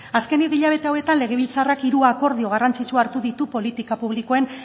azkeneko hilabete hauetan legebiltzarrak hiru akordio garrantzitsu hartu ditu politika publikoen